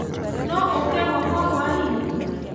No ũke gwakwa hwainĩ?